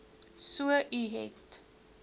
so u het